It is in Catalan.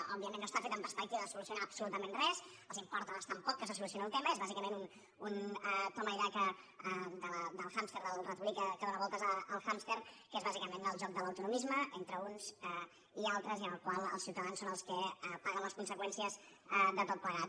òbviament no està feta amb perspectiva de solucionar absolutament res els importa bastant poc que se solucioni el tema és bàsicament un toma y daca del hàmster del ratolí que dóna voltes al hàmster que és bàsicament el joc de l’autonomisme entre uns i altres i en el qual els ciutadans són els que paguen les conseqüències de tot plegat